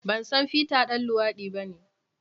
Ban san Peter ɗan luwadi bane.